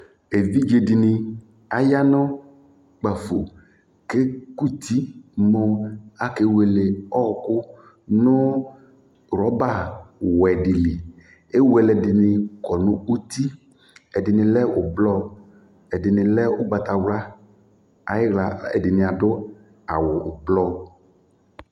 Evidze dɩnɩ aya nʋ kpafo kʋ ekuti mʋ akewele ɔɣɔkʋ nʋ rɔbawɛ dɩ li Ewele ɛdɩnɩ kɔ nʋ uti, ɛdɩnɩ lɛ ʋblɔ, ɛdɩnɩ lɛ ʋgbatawla, ayɩɣla ɛdɩnɩ adʋ awʋ ʋblɔ